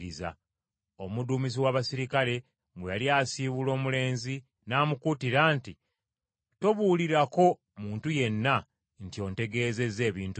Omuduumizi w’abaserikale bwe yali asiibula omulenzi n’amukuutira nti, “Tobuulirako muntu yenna nti ontegeezezza ebintu bino.”